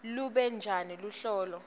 lube njani luhlolo